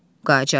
Qacar: Bəri bax.